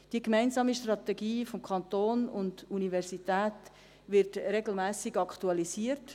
Die gemeinsame Strategie des Kantons und der Universität wird regelmässig aktualisiert.